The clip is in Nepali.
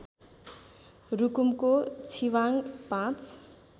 रुकुमको छिबाङ ५